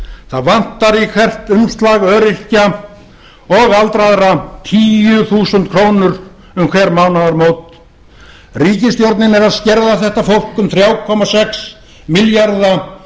það vantar í hvert umslag öryrkja og ellilífeyrisþega tíu þúsund krónur um hver mánaðamót eða þrjú komma sex milljarða